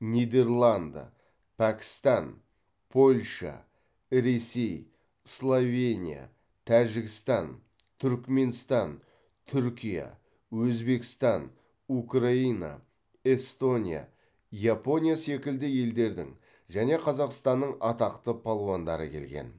нидерланды пәкістан польша ресей словения тәжікстан түрікменстан түркия өзбекстан украина эстония япония секілді елдердің және қазақстанның атақты балуандары келген